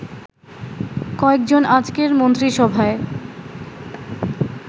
কয়েকজন আজকের মন্ত্রিসভায়